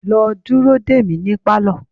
Lọ dúró dè mí ní Pálọ̀!